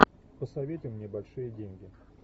посоветуй мне большие деньги